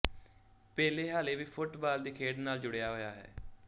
ਪੇਲੇ ਹਾਲੇ ਵੀ ਫੁਟਬਾਲ ਦੀ ਖੇਡ ਨਾਲ ਜੁੜਿਆ ਹੋਇਆ ਹੈ